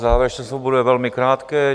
Závěrečné slovo bude velmi krátké.